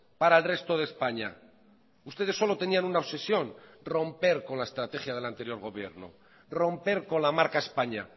para el resto de españa ustedes solo tenían una obsesión romper con la estrategia del anterior gobierno romper con la marca españa